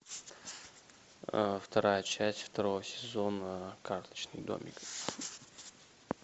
вторая часть второго сезона карточный домик